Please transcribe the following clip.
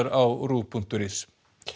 á RÚV punktur is